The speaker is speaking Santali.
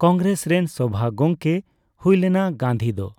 ᱠᱚᱝᱜᱮᱨᱮᱥ ᱨᱮᱱ ᱥᱚᱵᱷᱟ ᱜᱚᱝᱠᱮᱭ ᱦᱩᱭ ᱞᱮᱱᱟ ᱜᱟᱱᱫᱷᱤ ᱫᱚ ᱾